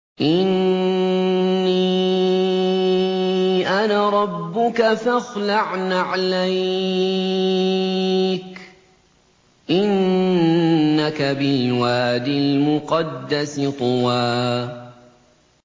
إِنِّي أَنَا رَبُّكَ فَاخْلَعْ نَعْلَيْكَ ۖ إِنَّكَ بِالْوَادِ الْمُقَدَّسِ طُوًى